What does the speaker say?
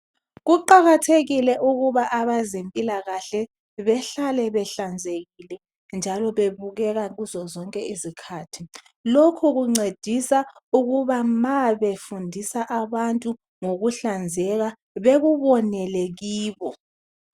Kuqakathekile ukuba abezempilakahle behlale behlanzekile njalo bebukeka kuzo zonke izikhathi lokhu kuncedisa ukuba ma befundisa abantu ukuhlanzeka bekubonele kibo